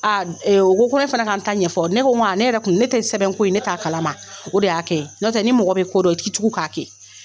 A ee o ko ko ne fana ka n ta ɲɛfɔ ne ko ne yɛrɛ tun ne tɛ sɛbɛnko in ne t'a kalama o de y'a kɛ n'o tɛ ni mɔgɔ bɛ ko dɔn i t'i tugu k'a kɛ